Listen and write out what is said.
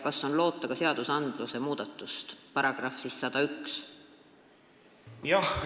Kas on loota ka perekonnaseaduse § 101 muudatust?